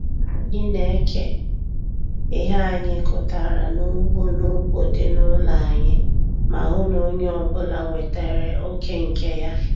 Anyị na-eke ihe anyị kụtara n'ugbo n'ugbo dị n'ụlọ anyị ma hụ na onye ọbụla nwetere oké nke ya.